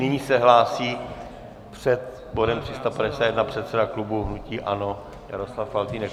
Nyní se hlásí před bodem 351 předseda klubu hnutí ANO Jaroslav Faltýnek.